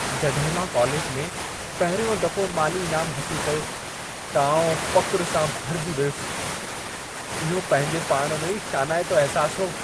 जॾहिं मां कालेज में पहिरियों दफ़ो माली इनामु हासिलु कयो, त आउं फ़ख़्रु सां भरिजी वियसि। इहो पंहिंजे पाण में ई शानाइतो अहिसासु हो।